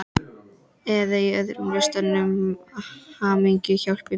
Eða í öðrum listum, hamingjan hjálpi mér!